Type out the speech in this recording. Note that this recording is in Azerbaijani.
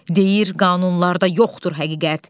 Deyir, qanunlarda yoxdur həqiqət.